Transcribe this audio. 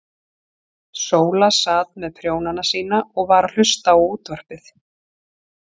Sóla sat með prjónana sína og var að hlusta á útvarpið.